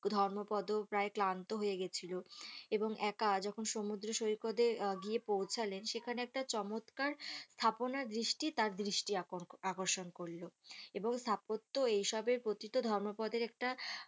ধর্মপদ প্রায় ক্লান্ত হয়ে গেছিলো এবং একা যখন সমুদ্র সৈকতে আহ গিয়ে পৌঁছালেন সেখানে একটা চমৎকার স্থাপনা দৃষ্টি তার দৃষ্টি আকর্ষণ আকর্ষণ করলো এবং তারপর তো এই সবের প্রতি তো ধর্মপদের একটা